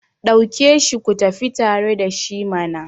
dauke shi ku tafi tare da shi mana!